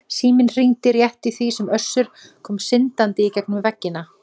Síminn hringdi rétt í því sem Össur kom syndandi í gegnum veggina.